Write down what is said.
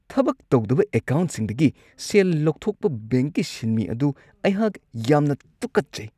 ꯊꯕꯛ ꯇꯧꯗꯕ ꯑꯦꯀꯥꯎꯟꯠꯁꯤꯡꯗꯒꯤ ꯁꯦꯜ ꯂꯧꯊꯣꯛꯄ ꯕꯦꯡꯛꯀꯤ ꯁꯤꯟꯃꯤ ꯑꯗꯨ ꯑꯩꯍꯥꯛ ꯌꯥꯝꯅ ꯇꯨꯀꯠꯆꯩ꯫